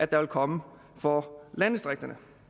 der vil komme for landdistrikterne